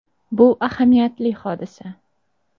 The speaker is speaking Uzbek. “Bu ahamiyatli hodisa.